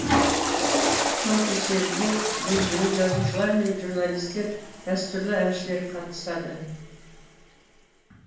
тұсаукесерге белгілі жазушылар мен журналистер дәстүрлі әншілер қатысады